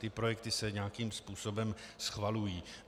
Ty projekty se nějakým způsobem schvalují.